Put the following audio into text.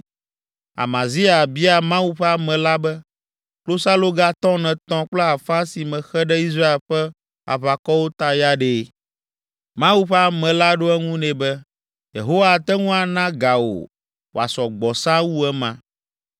Amazia bia Mawu ƒe ame la be, “Klosaloga tɔn etɔ̃ kple afã si mexe ɖe Israel ƒe aʋakɔwo ta ya ɖe?” Mawu ƒe ame la ɖo eŋu nɛ be, “Yehowa ate ŋu ana ga wò wòasɔ gbɔ sãa wu ema.”